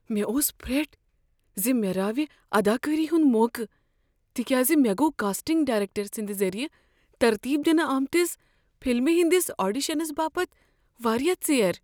مےٚ اوس فرٹھ ز مےٚ راوِ اداکٲری ہنٛد موقعہٕ تکیاز مےٚ گوٚو کاسٹنگ ڈایرٮ۪کٹر سٕنٛد ذٔریعہٕ ترتیب دنہٕ آمتس فلمہ ہنٛدس آڈیشنس باپت واریاہ ژیر۔